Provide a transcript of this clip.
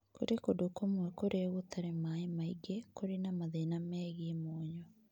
Kũrĩ kũndũ kũmwe kũrĩa gũtarĩ maĩ maingĩ kũrĩ na mathĩna megiĩ mũnyũ